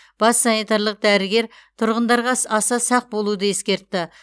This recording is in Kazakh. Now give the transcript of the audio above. бас санитарлық дәрігер тұрғындарға сс аса сақ болуды ескертті